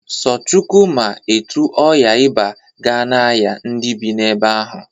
So Chukwu ma etu ọya iba ga na-aya ndị bị na-ebe ahụ.